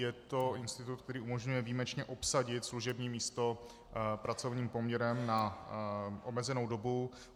Je to institut, který umožňuje výjimečně obsadit služební místo pracovním poměrem na omezenou dobu.